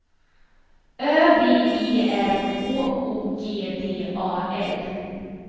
Ö V E R H O G D A L